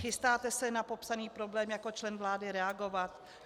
Chystáte se na popsaný problém jako člen vlády reagovat?